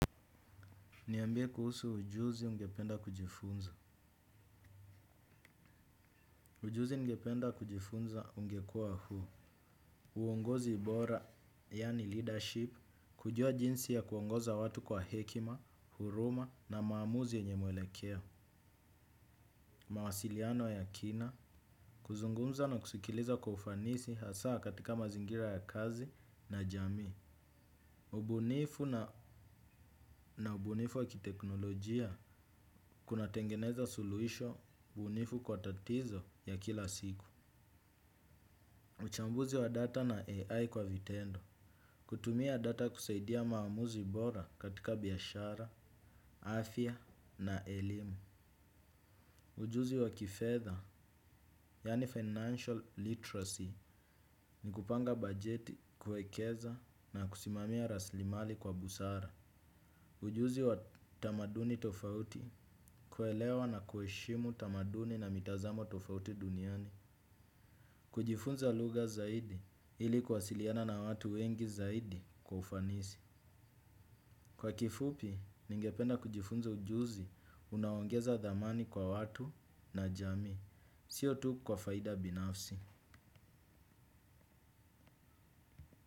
Niambie kuhusu ujuzi ungependa kujifunza. Ujuzi ungependa kujifunza ungekuwa huu. Uongozi bora, yani leadership, kujua jinsi ya kuongoza watu kwa hekima, huruma na maamuzi yenye mwelekeo. Mawasiliano ya kina, kuzungumza na kusikiliza kwa ufanisi hasa katika mazingira ya kazi na jamii. Ubunifu na ubunifu wakiteknolojia kunatengeneza suluhisho ubunifu kwa tatizo ya kila siku. Uchambuzi wa data na AI kwa vitendo. Kutumia data kusaidia maamuzi bora katika biashara, afya na elimu. Ujuzi wa kifedha, yani financial literacy, ni kupanga bajeti kuwekeza na kusimamia raslimali kwa busara. Ujuzi wa tamaduni tofauti kuelewa na kuheshimu tamaduni na mitazamo tofauti duniani. Kujifunza lugha zaidi ili kuwasiliana na watu wengi zaidi kwa ufanisi. Kwa kifupi, ningependa kujifunza ujuzi unaoongeza thamani kwa watu na jamii. Sio tu kwa faida binafsi.